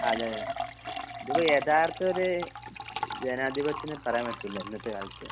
അതെ ഇതിപ്പോ യാഥാർത്തൊരു ജനാധിപധ്യയൊന്നു പറയാൻ പറ്റൂല്ല ഇന്നത്തെ കാലത്ത് .